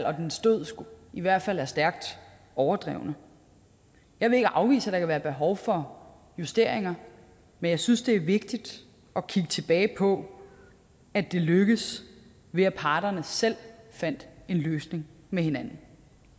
og dens død i hvert fald er stærkt overdrevne jeg vil ikke afvise at der kan være behov for justeringer men jeg synes det er vigtigt at kigge tilbage på at det lykkedes ved at parterne selv fandt en løsning med hinanden